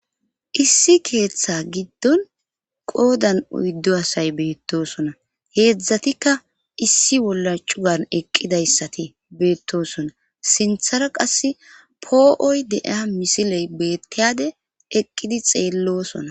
issi keeththa giddon qoodan oyddu asay beettosona heedzdzatikka issi wolla cugan eqqidayssati beettoosona sinthara qas poo7oy de'iya misiley beettiyade eqqidi xeellosona